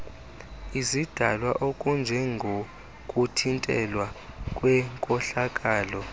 izidalwa okunjengokuthintelwa kwenkohlakalo